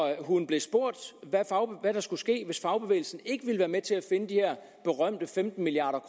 hun blev spurgt hvad der skulle ske hvis fagbevægelsen ikke ville være med til at finde de her berømte femten milliard